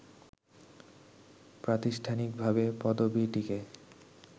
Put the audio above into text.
প্রাতিষ্ঠানিকভাবে পদবীটিকে